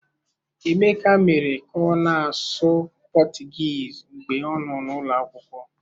Emeka mere ka ọ na-asụ Portuguese mgbe ọ nọ n'ụlọ akwụkwọ.